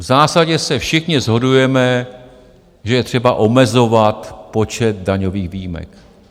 V zásadě se všichni shodujeme, že je třeba omezovat počet daňových výjimek.